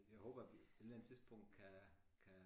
Jeg håber vi på et eller andet tidspunkt kan kan